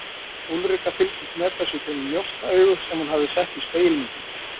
Úlrika fylgdist með þessu í gegnum njósnaaugu sem hún hafði sett í spegilmyndirnar.